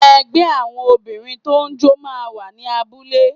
Ẹgbẹ́ àwọn Obìnrin tó ń jó máa ń wà ní abúlé